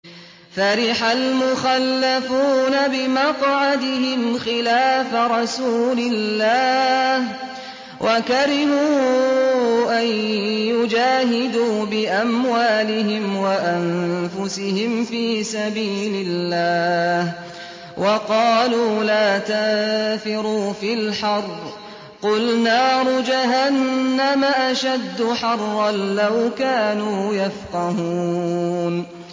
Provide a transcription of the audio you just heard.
فَرِحَ الْمُخَلَّفُونَ بِمَقْعَدِهِمْ خِلَافَ رَسُولِ اللَّهِ وَكَرِهُوا أَن يُجَاهِدُوا بِأَمْوَالِهِمْ وَأَنفُسِهِمْ فِي سَبِيلِ اللَّهِ وَقَالُوا لَا تَنفِرُوا فِي الْحَرِّ ۗ قُلْ نَارُ جَهَنَّمَ أَشَدُّ حَرًّا ۚ لَّوْ كَانُوا يَفْقَهُونَ